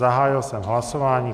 Zahájil jsem hlasování.